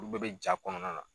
Olu bɛɛ bɛ jaa kɔnɔna na.